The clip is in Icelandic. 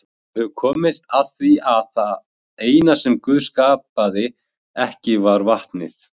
Við höfum komist að því að það eina sem Guð skapaði ekki var vatnið.